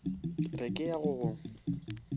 re ke ya go go